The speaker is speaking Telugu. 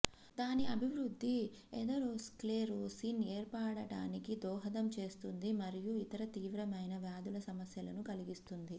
దాని అభివృద్ధి ఎథెరోస్క్లెరోసిస్ ఏర్పడటానికి దోహదం చేస్తుంది మరియు ఇతర తీవ్రమైన వ్యాధుల సమస్యలను కలిగిస్తుంది